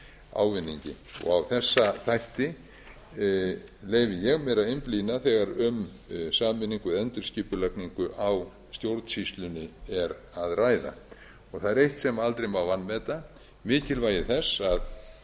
ávinningi á þessa þætti leyfi ég mér að einblína þegar um sameiningu eða endurskipulagningu á stjórnsýslunni er að ræða og það er eitt sem aldrei má vanmeta mikilvægi þess að